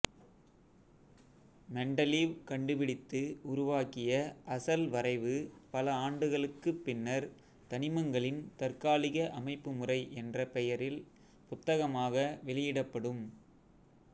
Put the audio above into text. Mendeleev கண்டுபிடித்து உருவாக்கிய அசல் வரைவு பல ஆண்டுகளுக்கு பின்னர் தனிமங்களின் தற்காலிக அமைப்புமுறை என்ற பெயரில் புத்தகமாக வெளியிடப்படும்